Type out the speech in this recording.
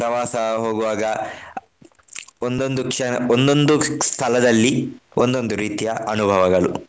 ಪ್ರವಾಸ ಹೋಗುವಾಗ ಒಂದೊಂದ್ ಕ್ಷಣ ಒಂದೊಂದ್ ಸ್ಥಳದಲ್ಲಿ ಒಂದೊಂದು ರೀತಿಯ ಅನುಭವಗಳು.